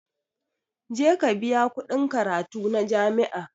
Je ka biya kuɗin karatu na jami'a